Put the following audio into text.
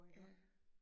Ja